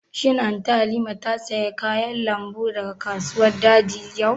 Shin Anty Halima ta saya kayan lambu daga kasuwar daji yau?